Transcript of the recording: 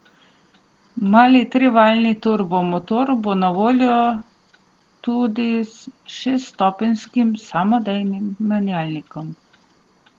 Mali trivaljni turbo motor bo na voljo tudi s šeststopenjskim samodejnim menjalnikom.